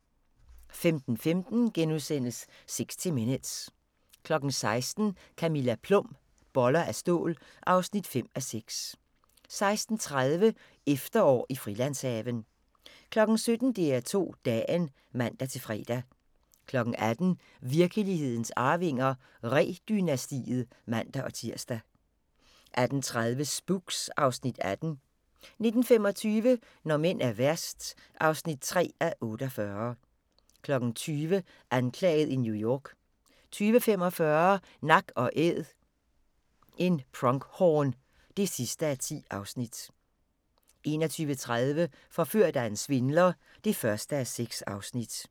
15:15: 60 Minutes * 16:00: Camilla Plum – Boller af stål (5:6) 16:30: Efterår i Frilandshaven 17:00: DR2 Dagen (man-fre) 18:00: Virkelighedens Arvinger: Ree-dynastiet (man-tir) 18:30: Spooks (Afs. 18) 19:25: Når mænd er værst (3:42) 20:00: Anklaget i New York 20:45: Nak & Æd – en pronghorn (10:10) 21:30: Forført af en svindler (1:6)